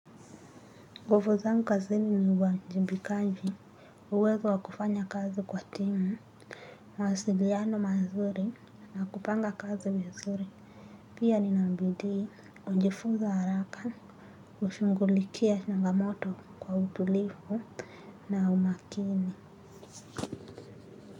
Nguvu zangu kazini ni uwajibikaji, uwezo wa kufanya kazi kwa timu, mawasiliano mazuri na kupanga kazi vizuri. Pia nina bidii hujifunza haraka, hushughulikia changamoto kwa utulivu na umakini.